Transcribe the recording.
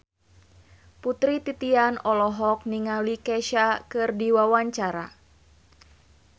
Putri Titian olohok ningali Kesha keur diwawancara